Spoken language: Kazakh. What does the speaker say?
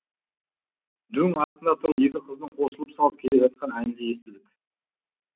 дөң астында тұрып екі қыздың қосылып салып келе жатқан әнін де естідік